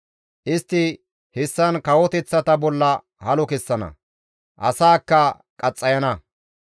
Istti hessan kawoteththata bolla halo kessana; asaakka qaxxayana.